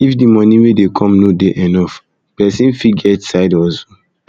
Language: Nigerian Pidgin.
if di money wey dey come no dey enough person fot get side hustle